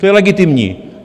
To je legitimní.